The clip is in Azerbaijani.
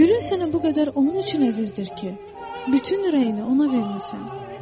Gülün sənə bu qədər onun üçün əzizdir ki, bütün ürəyini ona vermisən.